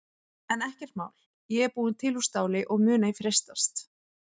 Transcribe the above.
En ekkert mál ég er búin til úr STÁLI og mun ei freistast.